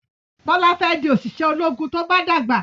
Bola fè di oṣiṣẹ ológun tó bá dàgbà